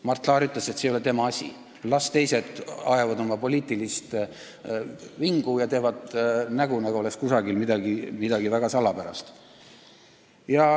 Mart Laar ütles, et see ei ole tema asi, las teised ajavad oma poliitilist vingu ja teevad nägu, nagu oleks kusagil midagi väga salapärast.